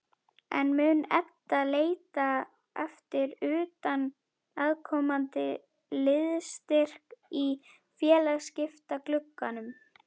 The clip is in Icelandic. En mun Edda leita eftir utanaðkomandi liðsstyrk í félagsskiptaglugganum?